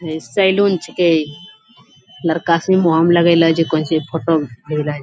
है सैलून छेकै लड़का लगैले छै कोनची फोटो भेजलै |